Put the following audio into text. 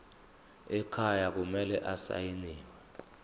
ekhaya kumele asayiniwe